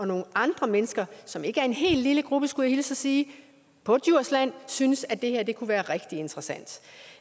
nogle andre mennesker som ikke er en hel lille gruppe skulle jeg hilse og sige på djursland synes at det her kunne være rigtig interessant